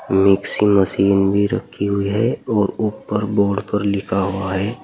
Mixing machine भी रखी हुई है और ऊपर बोर्ड पर लिखा हुआ है।